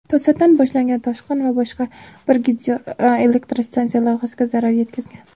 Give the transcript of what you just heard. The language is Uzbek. To‘satdan boshlangan toshqin boshqa bir gidroelektrstansiya loyihasiga zarar yetkazgan.